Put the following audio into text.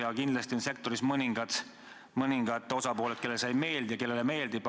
Aga kindlasti on sektoris kahel arvamusel osapooled: osale see ei meeldi ja osale meeldib.